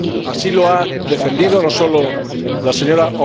Así lo han defendido no sólo la Sra.